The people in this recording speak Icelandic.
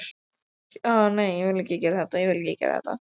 Hjörtur Hjartarson: Jæja Björn, hvað er að frétta?